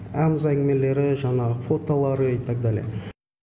аңыз әңгімелері жанағы фотолары и тогда ли